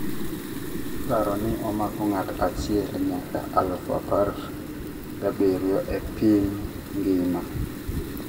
iparo ni omako ngato achiel nyaka alufu apar gabirio e piny ngima